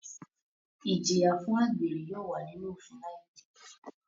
Ijiya fun agbere yóò wa ninu ofin laipe